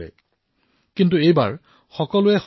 কিন্তু এইবাৰ সকলোৱে সংযম পালন কৰিছে